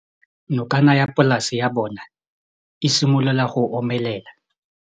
Nokana ya polase ya bona, e simolola go omelela.